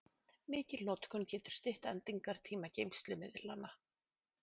Mikil notkun getur stytt endingartíma geymslumiðlanna.